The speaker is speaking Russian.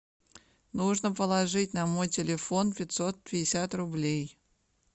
нужно положить на мой телефон пятьсот пятьдесят рублей